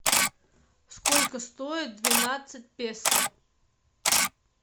сколько стоит двенадцать песо